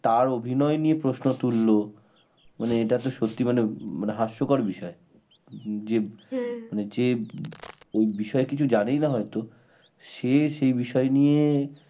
তার অভিনয় নিয়ে প্রশ্ন তুলল মানে এটা তো সত্যি মানে হাস্যকর বিষয় যে যে ওই বিষয় কিছু জানেই না হয়তো সে সেই বিষয় নিয়ে